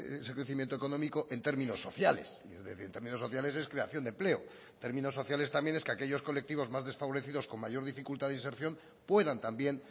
ese crecimiento económico en términos sociales y en términos sociales es creación de empleo términos sociales también es que aquellos colectivos más desfavorecidos con mayor dificultad de inserción puedan también